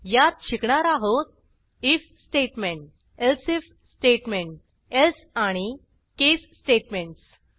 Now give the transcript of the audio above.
यात शिकणार आहोत if statement else if statement else आणि केस स्टेटमेंटस